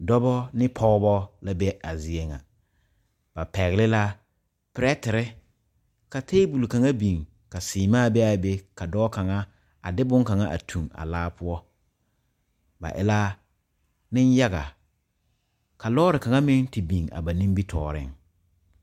Dɔba ne pɔgeba la be a zie ŋa ba pɛgle la perɛtere ka tabol kaŋa biŋ ka seemaa be a be ka dɔɔ kaŋa a de bonkaŋa toŋ a laa poɔ ba e la nenyaga ka lɔɔre kaŋa meŋ te biŋ a ba nimitɔɔreŋ.